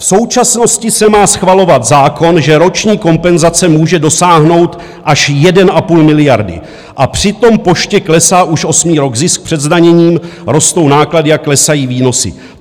V současnosti se má schvalovat zákon, že roční kompenzace může dosáhnout až 1,5 miliardy, a přitom Poště klesá už osmý rok zisk před zdaněním, rostou náklady a klesají výnosy.